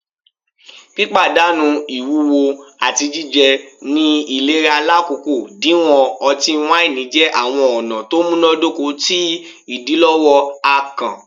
Pipadanu iwuwo ati jijẹ ni ilera lakoko diwọn ọti-waini jẹ awọn ọna to munadoko ti idilọwọ akàn